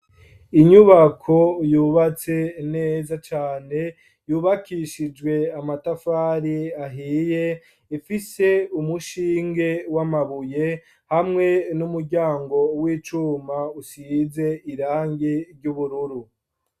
Inyubako yubatse neza cane, yubakishijwe amatafari ahiye, ifise umushinge w'amabuye, hamwe n'umuryango w'icuma, usize irangi ry'ubururu.